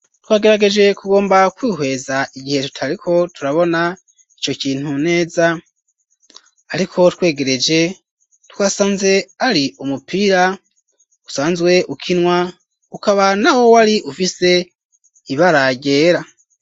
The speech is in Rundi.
Twagerageje ku gomba kwihweza igihe tutariko turabona ico kintu neza ariko twegereje twasanze ari umupira usanzwe ukinwa ukaba nawo wari ufise ibara ryera.